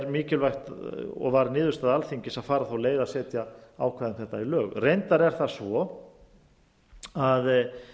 mikilvægt og varð niðurstaða alþingis að fara þá leið að setja ákvæði um þetta í lög reyndar er það svo að